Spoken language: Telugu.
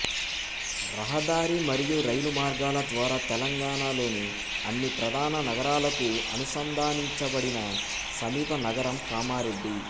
రహదారి మరియు రైలు మార్గాల ద్వారా తెలంగాణలోని అన్ని ప్రధాన నగరాలకు అనుసంధానించబడిన సమీప నగరం కామారెడ్డి